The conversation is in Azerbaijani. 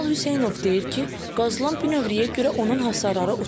Kamal Hüseynov deyir ki, qazılan bünövrəyə görə onun hasarları uçub.